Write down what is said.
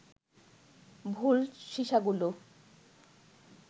ভুল সিসাগুলো